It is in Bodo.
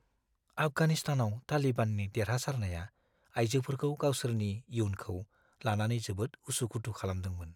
आफगानिस्तानाव तालिबाननि देरहासारनाया आइजोफोरखौ गावसोरनि इयुनखौ लानानै जोबोद उसु-खुथु खालामदोंमोन।